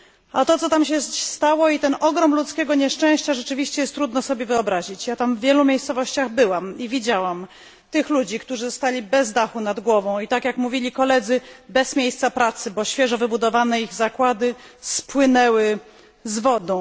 A to, co się tam stało i ten ogrom ludzkiego nieszczęścia rzeczywiście trudno sobie wyobrazić. Byłam w wielu tych miejscowościach i widziałam tych ludzi, którzy zostali bez dachu nad głową i tak jak mówili koledzy, bez miejsca pracy, bo ich świeżo wybudowane zakłady spłynęły z wodą.